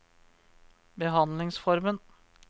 behandlingsformen